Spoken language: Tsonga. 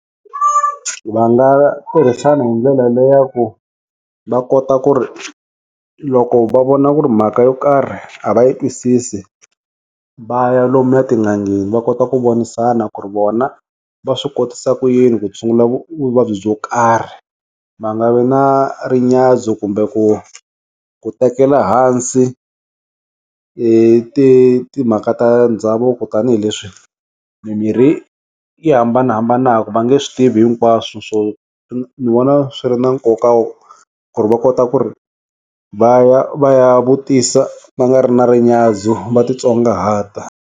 Va nga tirhisana hi ndlela leyi ya ku va kota ku ri loko va vona ku ri mhaka yo karhi a va yi twisisi va ya lomu ya etin'angeni va kota ku vonisana ku ri vona va swi kotisa ku yini ku tshungula vuvabyi byo karhi va nga vi na ri nyadzo kumbe ku ku tekela hansi ti timhaka ta ndhavuko tanihileswi mimirhi yi hambanahambanaka va nge swi tivi hinkwaswu swo ni vona swi ri na nkoka wo ku ri va kota ku ri va ya va ya vutisa va nga ri na ri nyadzo va titsongahata.